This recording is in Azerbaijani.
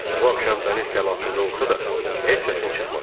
Bu axşam dəniz təlatümlü olsa da, heç səsin çıxmadı.